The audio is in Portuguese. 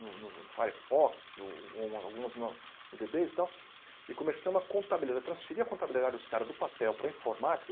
no no Firefox, ou uma algumas no no Dbase e tal, e começamos a contabili transferir a contabilidade dos caras do papel para a informática.